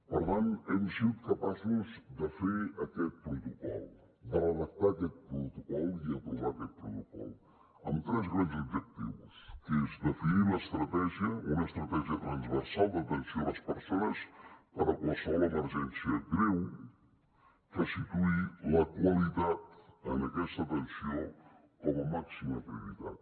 per tant hem sigut capaços de fer aquest protocol de redactar aquest protocol i aprovar aquest protocol amb tres grans objectius que és definir l’estratègia una estratègia transversal d’atenció a les persones per a qualsevol emergència greu que situï la qualitat en aquesta atenció com a màxima prioritat